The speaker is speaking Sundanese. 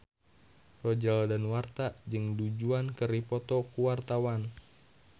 Roger Danuarta jeung Du Juan keur dipoto ku wartawan